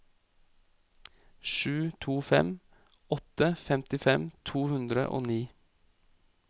sju to fem åtte femtifem to hundre og ni